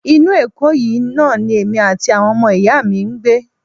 Inú Èkó yìí náà ni èmi àti àwọn ọmọ ìyá mi ń gbé